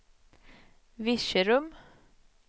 Virserum